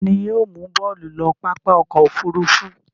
Ta ni yóò mú Bólú lọ pápá ọkọ̀-òfurufú.